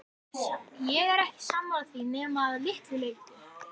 Ég er ekki sammála því nema að litlu leyti.